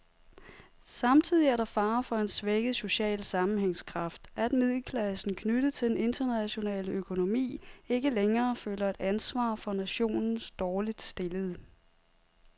Samtidig er der fare for en svækket social sammenhængskraft, at middelklassen, knyttet til den internationale økonomi, ikke længere føler et ansvar for nationens dårligt stillede.